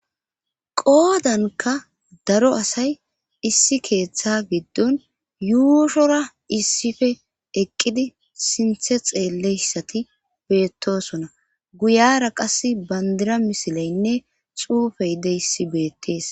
Qoodanka daro asay issi keeththa giddon yuushora issife eqqidi sinthe xeelleyssati beettosona guyara qas bandira misileynne xuufey de issi beettees